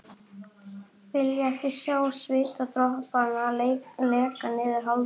Vilja ekki sjá svitadropana leka niður hálsinn.